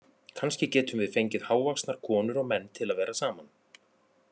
Kannski getum við fengið hávaxnar konur og menn til að vera saman